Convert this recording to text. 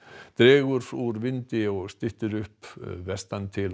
dregur úr vindi og styttir upp vestan til á